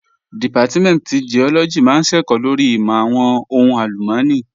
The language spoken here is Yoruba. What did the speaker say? Dìpátímẹ̀ntì Giọ́lọ́gì máa ń ṣẹ̀kọ́ lórí ìmọ̀ àwọn ohùn àlùmọ́nì